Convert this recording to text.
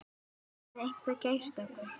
Hafði einhver keyrt á okkur?